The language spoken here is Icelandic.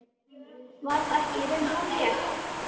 Var það ekki í raun hárrétt?